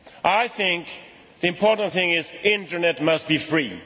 I think the important thing is that the Internet must be free.